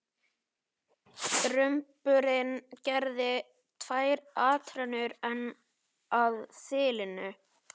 Drumburinn gerði tvær atrennur enn að þilinu.